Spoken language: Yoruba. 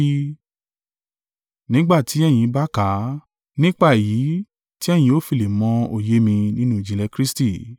Nígbà tí ẹ̀yin bá kà á, nípa èyí tí ẹ̀yin o fi lè mọ òye mi nínú ìjìnlẹ̀ Kristi.